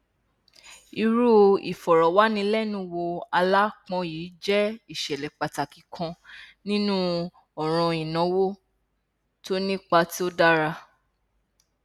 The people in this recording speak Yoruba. irú ìfọrọwánilẹnuwò aláápọn yìí jẹ ìṣẹlẹ pàtàkì kan nínú ọràn ìnáwó tó ní ipa tó dára